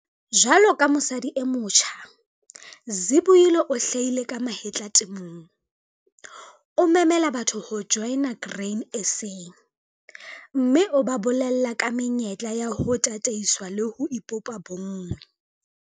Jwalo ka mosadi e motjha, Zibuyile o hlahile ka mahetla temong. O memela batho ho joina Grain SA, mme o ba bolella ka menyetla ya ho tataiswa le ho ipopa bonngwe.